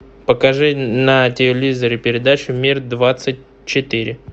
покажи на телевизоре передачу мир двадцать четыре